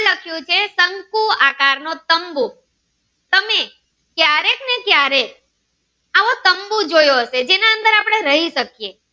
આકાર નો તંબુ તમે ક્યારેક ને ક્યારેક આવો તંબુ જેવો હતો જેના અંદર આપડે રહી શકીએ